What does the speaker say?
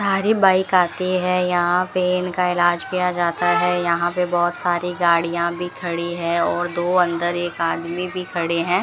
Bike आती हैं यहां पे इनका इलाज किया जाता है यहां पे बहोत सारी गाड़ियां भी खड़ी है और दो अंदर एक आदमी भी खड़े हैं।